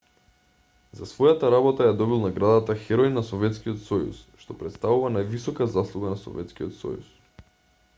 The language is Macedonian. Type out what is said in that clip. за својата работа ја добил наградата херој на советскиот сојуз што претставува највисока заслуга на советскиот сојуз